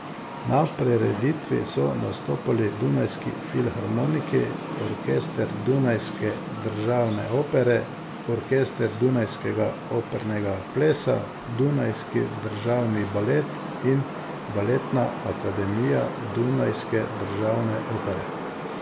Na prireditvi so nastopili Dunajski filharmoniki, orkester Dunajske državne opere, orkester dunajskega opernega plesa, Dunajski državni balet in baletna akademija Dunajske državne opere.